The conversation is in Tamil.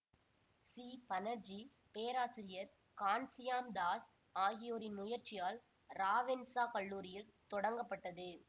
சி பனர்ஜி பேராசிரியர் கான்சியாம் தாஸ் ஆகியோரின் முயற்சியால் ராவென்சா கல்லூரியில் தொடங்கப்பட்டது